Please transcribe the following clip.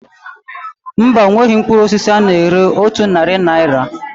Mba, onweghị mkpụrụ osisi a na-ere otu narị naira